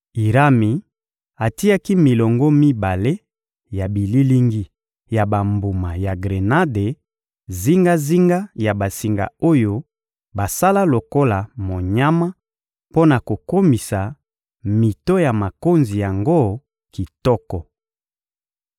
Irami atiaki milongo mibale ya bililingi ya bambuma ya grenade zingazinga ya basinga oyo basala lokola monyama mpo na kokomisa mito ya makonzi yango kitoko.